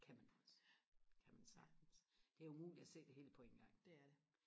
det kan man også det kan man sagtens det er umuligt at se det hele på en gang det er det